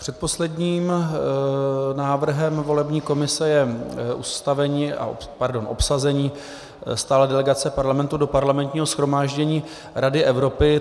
Předposledním návrhem volební komise je obsazení stálé delegace Parlamentu do Parlamentního shromáždění Rady Evropy.